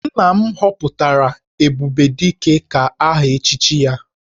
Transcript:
Nna m họpụtara 'Ebubedike' ka aha echichi ya